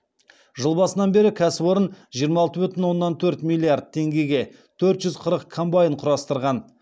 жыл басынан бері кәсіпорын жиырма алты бүтін оннан төрт миллиард теңгеге төрт жүз қырық комбайн құрастырған